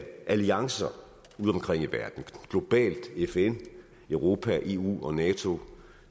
alliancer udeomkring i verden globalt fn europa eu og nato